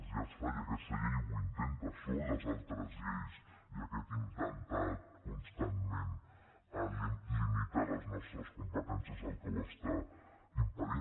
ja es fa i aquesta llei ho intenta són les altres lleis i aquest intentar constantment limitar les nostres competències el que ho està impedint